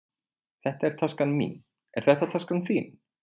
Þetta er taskan mín. Er þetta taskan þín?